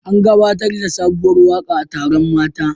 An gabatar da sabuwar waka a taron mata